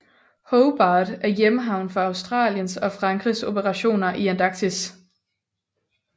Hobart er hjemhavn for Australiens og Frankrigs operationer i Antarktis